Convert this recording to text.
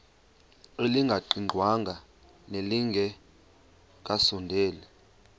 elingaqingqwanga nelinge kasondeli